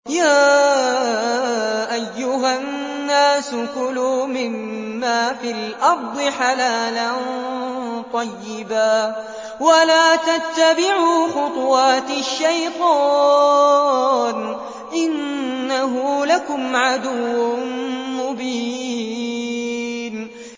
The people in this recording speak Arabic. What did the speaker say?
يَا أَيُّهَا النَّاسُ كُلُوا مِمَّا فِي الْأَرْضِ حَلَالًا طَيِّبًا وَلَا تَتَّبِعُوا خُطُوَاتِ الشَّيْطَانِ ۚ إِنَّهُ لَكُمْ عَدُوٌّ مُّبِينٌ